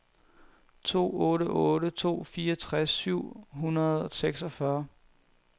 to otte otte to fireogtres syv hundrede og seksogfyrre